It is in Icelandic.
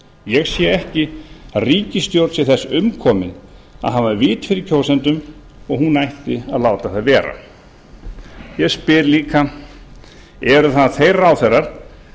ég sé ekki að ríkisstjórn sé þess umkomin að hafa vit fyrir kjósendum og hún ætti að láta það vera ég spyr líka eru þeir ráðherrar